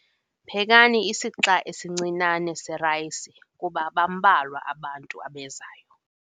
Phekani isixa esincinane serayisi kuba bambalwa abantu abezayo.